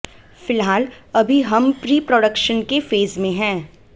फिलहाल अभी हम प्री प्रोडक्शन के फेज में हैं